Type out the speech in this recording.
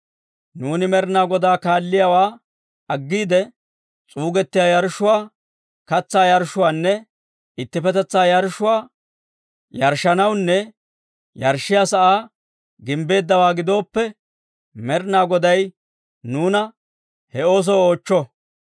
Nuuni Med'ina Godaa kaalliyaawaa aggiide, s'uuggiyaa yarshshuwaa, katsaa yarshshuwaanne ittippetetsaa yarshshuwaa yarshshanawunne yarshshiyaa sa'aa gimbbeeddawaa gidooppe, Med'ina Goday nuuna he oosoo oochcho.